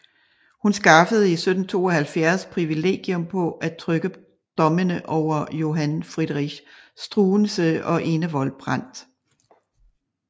Hun skaffede i 1772 privilegium på at trykke dommene over Johann Friedrich Struensee og Enevold Brandt